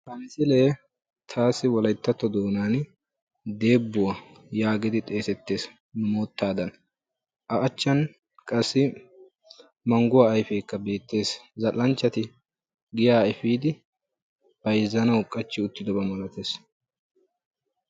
Ha misilee taassi wolayttatto doonaani "deebbuwaa" yaagidi xeesettes moottaadan. A achchan qassi mangguwaa ayfeekka beettes. Zal"anchchati giyaa efiidi bayzzanaw qachchi wottidoba milates.